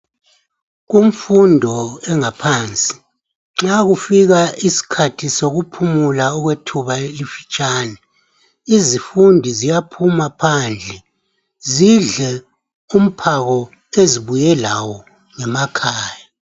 Kumfundo engaphansi, nxa kufika isikhathi sokuphumula okwethuba elifitshani, izifundi ziyaphuma phandle zidle umphako ezibuye lawo ngemakhaya.